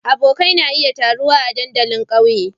Abokai na iya taruwa a dandalin ƙauyen.